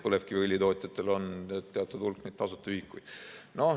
Põlevkiviõlitootjatel on teatud hulk neid tasuta ühikuid.